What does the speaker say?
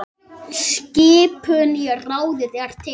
Skipun í ráðið er til